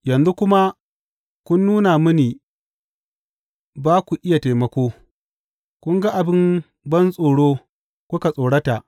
Yanzu kuma kun nuna mini ba ku iya taimako; kun ga abin bantsoro kuka tsorata.